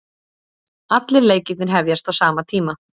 Allir leikirnir hefjast á sama tíma